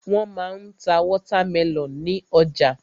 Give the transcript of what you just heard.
Wọ́n ma ń ta wọ́támẹlọ̀n ní ọjà.